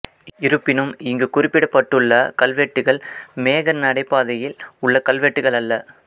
இருப்பினும் இங்கு குறிப்பிடப்பட்டுள்ள கல்வெட்டுகள் மேக நடைபாதையில் உள்ள கல்வெட்டுகள் அல்ல